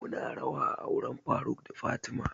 Mu na rawa a auren faruk da fatima